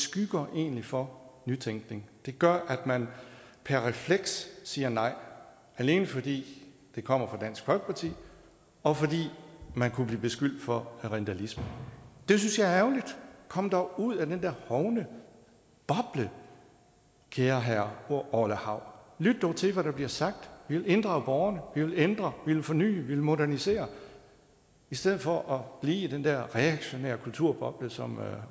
skygger egentlig for nytænkning det gør at man per refleks siger nej alene fordi det kommer fra dansk folkeparti og fordi man kunne blive beskyldt for rindalisme det synes jeg er ærgerligt kom dog ud af den der hovne boble kære herre orla hav lyt dog til hvad der bliver sagt nemlig vi vil inddrage borgerne vi vil ændre vi vil forny vi vil modernisere i stedet for blive i den der reaktionære kulturboble som